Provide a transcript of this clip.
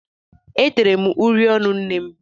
E tere uri ọnụ nnem.